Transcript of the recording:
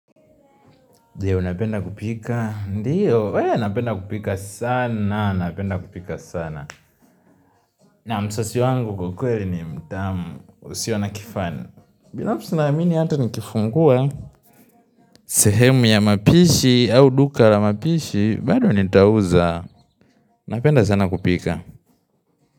Ndiyo, napenda kupika? Ndiyo, wee napenda kupika sana, napenda kupika sana. Na msossi wangu kwa kweli ni mtamu, usiyo na kifani. Binafsi naamini hata nikifungua, sehemu ya mapishi au duka la mapishi, bado nitauza, napenda sana kupika.